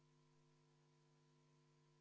Palun võtta seisukoht ja hääletada!